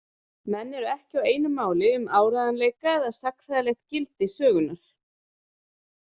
Menn eru ekki á einu máli um áreiðanleika eða sagnfræðilegt gildi sögunnar.